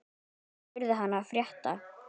Ég spurði hana frétta.